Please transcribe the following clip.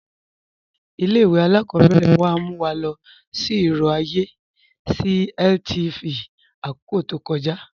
Ilẹ̀-ìwé alákọ̀bẹ̀rẹ̀ wa mú wa lọ sí irò ayé sí LTV ni akókò tó kọ̀ja.